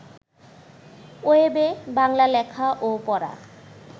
ওয়েবে বাংলা লেখা ও পড়া